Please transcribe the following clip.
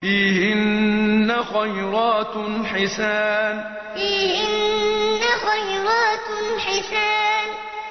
فِيهِنَّ خَيْرَاتٌ حِسَانٌ فِيهِنَّ خَيْرَاتٌ حِسَانٌ